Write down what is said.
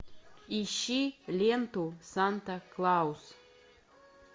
ищи ленту санта клаус